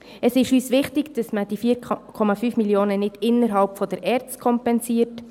Es ist uns wichtig, dass man die 4,5 Mio. Franken nicht innerhalb der ERZ kompensiert.